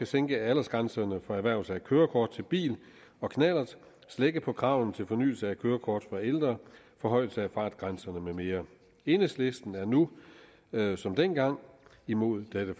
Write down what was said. sænke aldersgrænserne for erhvervelse af kørekort til bil og knallert slække på kravene til fornyelse af kørekort for ældre forhøjelse af fartgrænserne med mere enhedslisten er nu som dengang imod dette